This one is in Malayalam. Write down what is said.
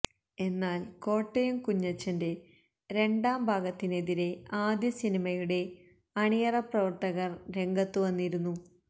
എന്നാല് കോട്ടയം കുഞ്ഞച്ചന്റെ രണ്ടാംഭാഗത്തിനെതിരെ ആദ്യ സിനിയുടെ അണിയറപ്രവര്ത്തകര് രംഗത്തു വന്നിരുന്നു